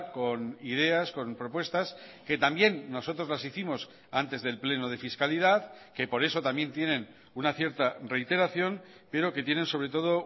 con ideas con propuestas que también nosotros las hicimos antes del pleno de fiscalidad que por eso también tienen una cierta reiteración pero que tienen sobre todo